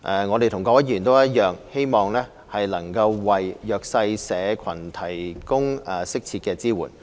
我們與各位議員一樣，希望能為弱勢社群提供適切的支援。